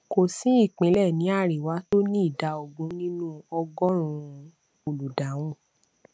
kò sí ìpínlẹ ní àríwá tó ní ìdá ogún nínú ọgọrùnún olùdáhùn